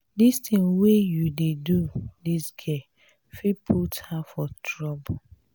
dis thing wey you dey do dis girl fit put her for trouble